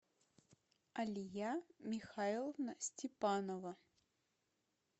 алия михайловна степанова